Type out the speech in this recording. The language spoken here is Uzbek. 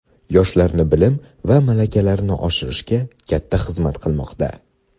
yoshlarni bilim va malakalarini oshirishga katta xizmat qilmoqda.